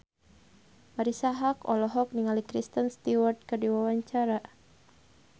Marisa Haque olohok ningali Kristen Stewart keur diwawancara